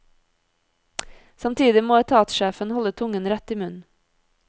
Samtidig må etatssjefen holde tungen rett i munnen.